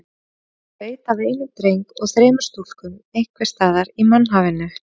Hann veit af einum dreng og þremur stúlkum einhvers staðar í mannhafinu.